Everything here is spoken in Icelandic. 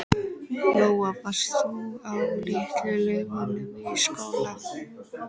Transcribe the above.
Lóa: Varst þú á Litlu-Laugum í skóla?